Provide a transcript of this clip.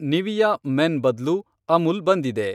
Nivea men ಬದ್ಲು ಅಮುಲ್ ಬಂದಿದೆ